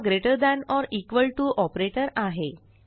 हा greater than or equal to operator आहे